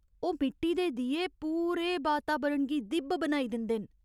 ओह् मिट्टी दे दीए पूरे बातावरण गी दि'ब्ब बनाई दिंदे न।